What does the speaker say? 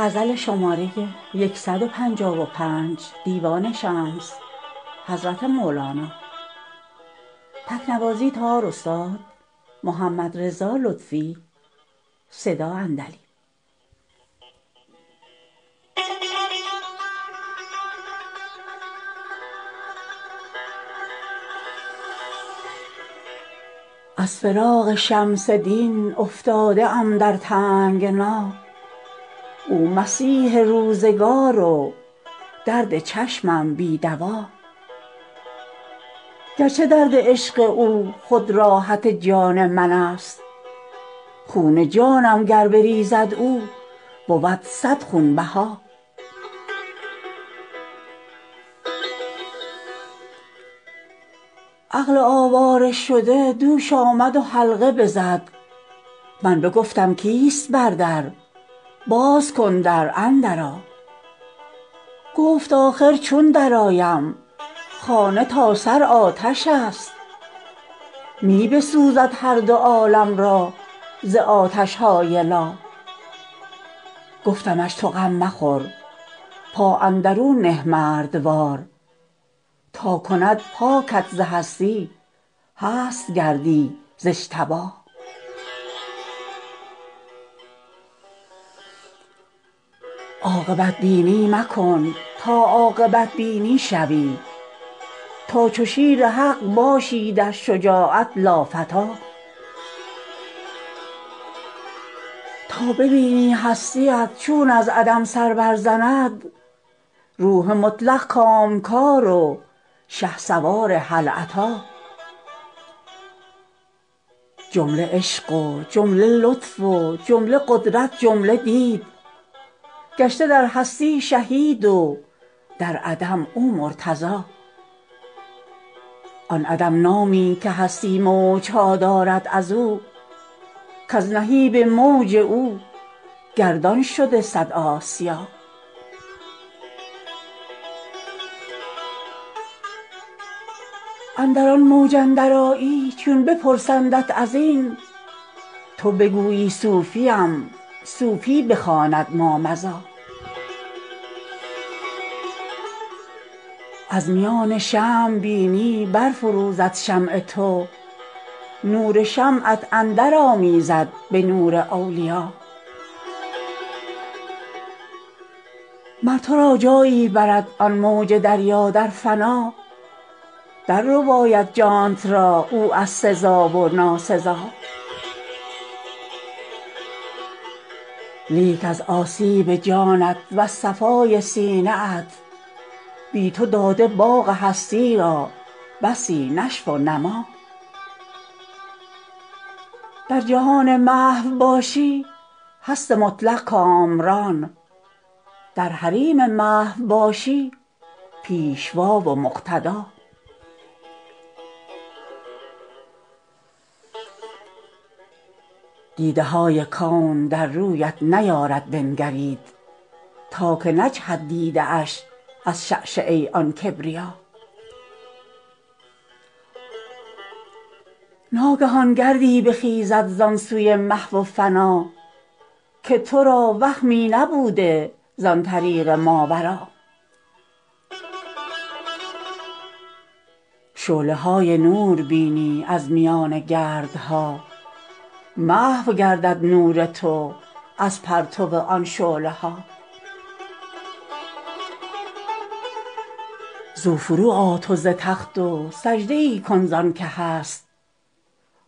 از فراق شمس دین افتاده ام در تنگنا او مسیح روزگار و درد چشمم بی دوا گرچه درد عشق او خود راحت جان منست خون جانم گر بریزد او بود صد خونبها عقل آواره شده دوش آمد و حلقه بزد من بگفتم کیست بر در باز کن در اندرآ گفت آخر چون درآید خانه تا سر آتش است می بسوزد هر دو عالم را ز آتش های لا گفتمش تو غم مخور پا اندرون نه مردوار تا کند پاکت ز هستی هست گردی ز اجتبا عاقبت بینی مکن تا عاقبت بینی شوی تا چو شیر حق باشی در شجاعت لافتی تا ببینی هستی ات چون از عدم سر برزند روح مطلق کامکار و شهسوار هل اتی جمله عشق و جمله لطف و جمله قدرت جمله دید گشته در هستی شهید و در عدم او مرتضی آن عدم نامی که هستی موج ها دارد از او کز نهیب و موج او گردان شد صد آسیا اندر آن موج اندرآیی چون بپرسندت از این تو بگویی صوفیم صوفی بخواند مامضی از میان شمع بینی برفروزد شمع تو نور شمعت اندرآمیزد به نور اولیا مر تو را جایی برد آن موج دریا در فنا دررباید جانت را او از سزا و ناسزا لیک از آسیب جانت وز صفای سینه ات بی تو داده باغ هستی را بسی نشو و نما در جهان محو باشی هست مطلق کامران در حریم محو باشی پیشوا و مقتدا دیده های کون در رویت نیارد بنگرید تا که نجهد دیده اش از شعشعه آن کبریا ناگهان گردی بخیزد زان سوی محو فنا که تو را وهمی نبوده زان طریق ماورا شعله های نور بینی از میان گردها محو گردد نور تو از پرتو آن شعله ها زو فروآ تو ز تخت و سجده ای کن زانک هست